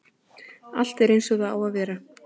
Allt eins og það á að vera